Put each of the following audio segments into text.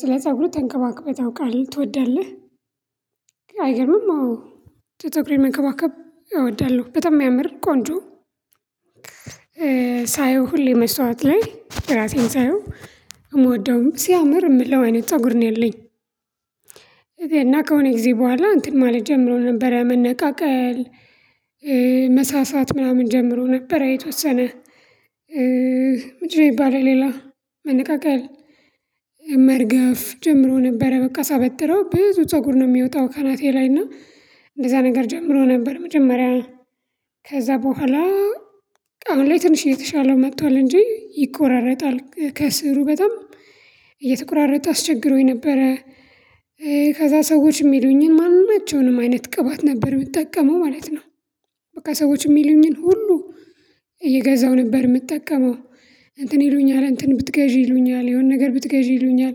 ስለ ፀጉር ተንከባክበህ ታውቃለህ ትወዳለህ አይገርምም? አዎ ፀጉሬን መንከባከብ እወዳለሁ በጣም የሚያምር ቆንጆ ሳየው ሁሌ መስታውት ላይ ራሴን ሳየው እምወደውም ሲያምር የምለው አይነት ፀጉር ነው ያለኝ። እኔና ከሆነ ጊዜ በኋላ እንትን ማለት ጀምሮ ነበረ መነቃቀል። መሳሳት ምናምን ጀምሮ ነበረ የተወሰነ። ምድን ነው የሚባለው። ሌላ መነቃቀል መርገፍ ጀምሮ ነበረ። በቃ ሳበጥረው ብዙ ፀጉር ነው የሚወጣው ካናቴ ላይ እና እንደዛ ነገር ጀምሮ ነበር። መጀመሪያ ከዛ በኋላ አሁን ላይ ትንሽ የተሻለው መጥቷል እንጂ ይቆራረጣል ከስሩ በጣም እየተቆራረጠ አስቸግሮኝ ነበረ። ከዛ ሰዎች የሚሉኝን ማንናቸውንም አይነት ቅባት ነበር የምትጠቀመው ማለት ነው። በቃ ሰዎች የሚሉኝን ሁሉ ይገዛው ነበር የምጠቀመው። እንትን ይሉኛል እንትን ብትገዢ ይሉኛል የሆነ ነገር ብትገዢ ይሉኛል።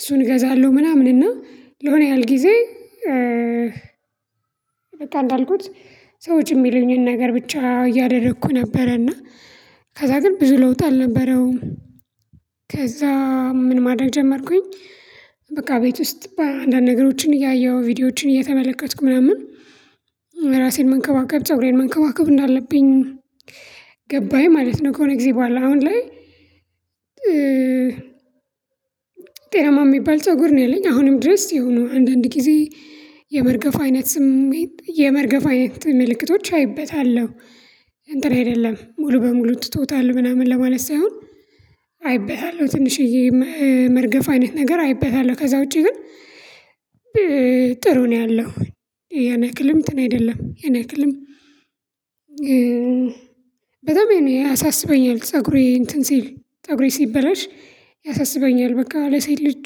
እሱን እገዛለሁ ምናምን እና ለሆነ ያህል ጊዜ። በቃ እንዳልኩት ሰዎች የሚሉኝን ነገር ብቻ እያደረኩ ነበረና ከዛ ግን ብዙ ለውጥ አልነበረውም። ከዛ ምን ማድረግ ጀመርኩኝ። በቃ ቤት ውስጥ በአንዳንድ ነገሮችን እያየሁ ቪዲዮዎችን እየተመለከትኩ ምናምን። ራሴን መንከባከብ ፀጉሬን መንከባከብ እንዳለብኝ ገባኝ ማለት ነው። ከሆነ ጊዜ በኋላ አሁን ላይ ጤናማ የሚባል ፀጉር ነው ያለኝ አሁንም ድረስ የሆኑ አንዳንድ ጊዜ። የመርገፍ አይነት ስሜት የመርገፍ አይነት ምልክቶች አይበታለሁ። እንትን አይደለም ሙሉ በሙሉ ትቶታል ምናምን ለማለት ሳይሆን። አይበታለሁ ትንሽዬ መርገፍ አይነት ነገር አይበታለሁ ከዛ ውጪ ግን። ጥሩ ነው ያለው። ያን ያክልም እንትን አይደለም ያን ያክልም። በጣም ያሳስበኛል ፀጉሬ እንትን ሲል ፀጉሬ ሲበላሽ። ያሳስበኛል በቃ ለሴት ልጁ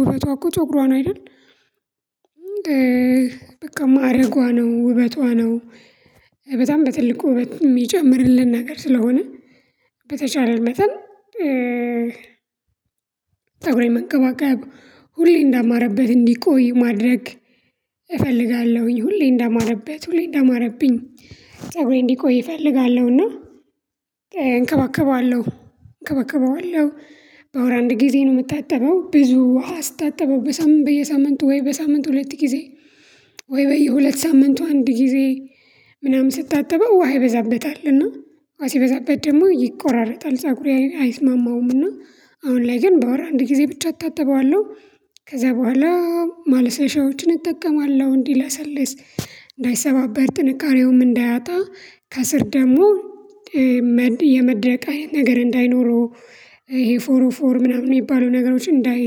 ውበቷ እኮ ፀጉሯ ነው አይደል? በቃ ማዕረጓ ነው ውበቷ ነው። በጣም በትልቅ ውበት የሚጨምርልን ነገር ስለሆነ። በተቻለ መጠን እህ ፀጉሬን መንከባከብ ሁሌ እንዳማረበት እንዲቆይ ማድረግ እፈልጋለሁኝ ሁሌ እንዳማረበት ሁሌ እንዳማረብኝ ፀጉሬ እንዲቆይ እፈልጋለሁና። እንከባከባለሁ እንከባከባለሁ በወር አንድ ጊዜ ነው የምታጠበው ብዙ ውሃ ስታጠበው በሳምንቱ በየሳምንቱ ወይ በሳምንት ሁለት ጊዜ። ወይ በየሁለት ሳምንቱ አንድ ጊዜ ምናምን ስታጠበው ውሃ ይበዛበታልና። ውሃ ሲበዛበት ደግሞ ይቆራረጣል ፀጉሬ አይስማማውምና። አሁን ላይ ግን በወር አንድ ጊዜ ብቻ አታጥበዋለሁ። ከዛ በኋላ ማልሰሻዎችን እጠቀማለሁ እንዲለሰልስ እንዳይሰባበር ጥንቃሬውም እንዳያጣ ከስር ደግሞ የመድረቅ አይነት ነገር እንዳይኖረው። ይሄ ፎር ኦፍ ፎር ምናምን የሚባሉ ነገሮች እንዳይ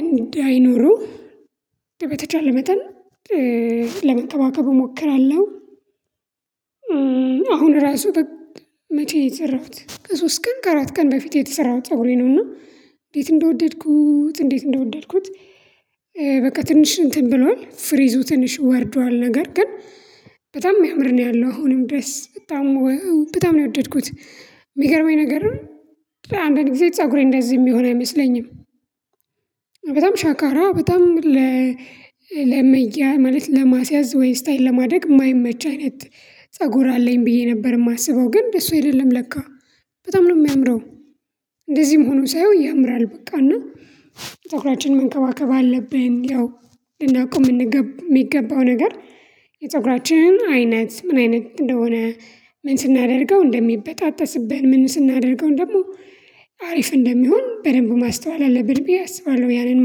እንዳይኖሩ። በተቻለ መጠን ለመንከባከብ እሞክራለሁ። አሁን ራሱ በመቼ ነው የሰራሁት ከሶስት ቀን ከአራት ቀን በፊት የተሰራሁት ፀጉሬ ነው። እና እንዴት እንደወደድኩት እንዴት እንደወደድኩት። በቃ ትንሽ እንትን ብሏል ፍሪዙ ትንሽ ወርዷል ነገር ግን። በጣም የሚያምር ነው ያለው አሁንም ድረስ በጣም በጣም ነው የወደድኩት። የሚገርመኝ ነገር አንዳንድ ጊዜ ፀጉሬ እንደዚህ የሚሆን አይመስለኝም። በጣም ሻካራ በጣም ለመያ ማለት ለማስያዝ ወይ ስታይል ለማደግ የማይመች አይነት ፀጉር አለኝ ብዬ ነበር የማስበው ግን እሱ አይደለም ለካ በጣም ነው የሚያምረው። እንደዚህም ሆኖ ሳየው ያምራል በቃ እና ተኩላችንን መንከባከብ አለብን ያው። ልናውቀው የምንገባው የሚገባው ነገር የፀጉራችን አይነት ምን አይነት እንደሆነ። ምን ስናደርገው እንደሚበጣጠስብን ምን ስናደርገው ደግሞ ሀሪፍ እንደሚሆን በደንብ ማስተዋል አለብን። ብዬ አስባለሁ ያንን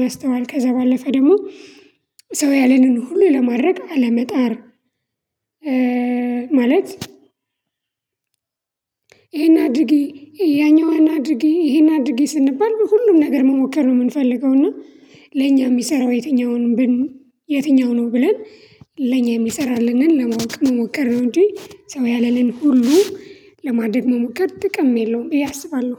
ማስተዋል ከዛ ባለፈ ደግሞ ሰው ያለንን ሁሉ ለማድረግ አለመጣር። ማለት ይሄን አድርጊ ያኛዋን አድርጊ ይሄን አድርጌ ስንባል ሁሉም ነገር መሞከር ነው የምንፈልገው። እና ለኛ የሚሰራው የትኛውንም? የትኛው ነው ብለን? ለኛ የሚሰራልንን ለማወቅ ነው መሞከር ነው እንጂ ሰው ያለንን ሁሉ ለማድረግ መሞከር ጥቅም የለውም ብዬ እያሰባለሁ።